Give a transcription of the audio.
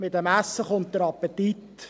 Mit dem Essen kommt der Appetit.